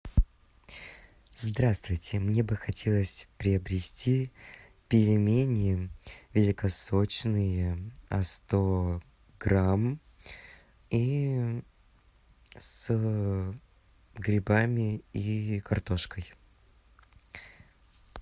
здравствуйте мне бы хотелось приобрести пельмени великосочные сто грамм и с грибами и картошкой